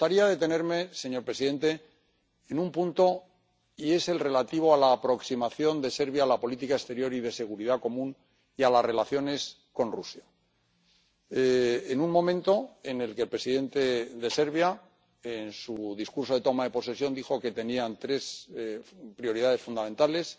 Me gustaría detenerme, señor presidente, en un punto y es el relativo a la aproximación de Serbia a la política exterior y de seguridad común y a las relaciones con Rusia en un momento en el que el presidente de Serbia, en su discurso de toma de posesión, dijo que tenían tres prioridades fundamentales,